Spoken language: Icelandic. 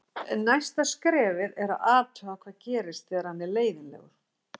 Næsta skrefið er að athuga hvað gerist þegar hann er leiðinlegur.